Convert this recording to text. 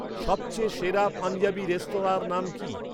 সবচেয়ে সেরা পাঞ্জাবী রেস্তরাঁঁর নাম কি?